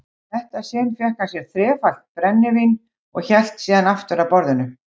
þetta sinn fékk hann sér þrefaldan brennivín og hélt síðan aftur að borðinu.